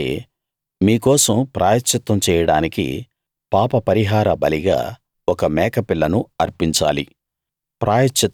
అలాగే మీ కోసం ప్రాయశ్చిత్తం చేయడానికి పాపపరిహార బలిగా ఒక మేకపిల్లను అర్పించాలి